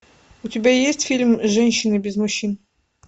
у тебя есть фильм женщины без мужчин